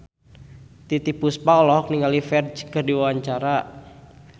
Titiek Puspa olohok ningali Ferdge keur diwawancara